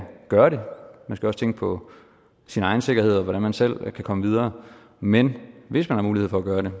gøre det man skal også tænke på sin egen sikkerhed og på hvordan man selv kan komme videre men hvis man har mulighed for at gøre det